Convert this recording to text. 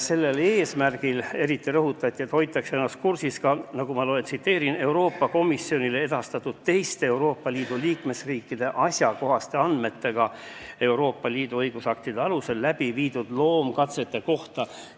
Sellel eesmärgil hoitakse ennast kursis ka Euroopa Komisjonile edastatud teiste liikmesriikide asjakohaste andmetega Euroopa Liidu õigusaktide alusel tehtud loomkatsete kohta.